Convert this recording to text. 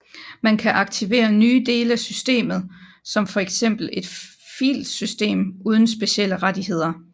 Man kan aktivere nye dele af systemet som for eksempel et filsystem uden specielle rettigheder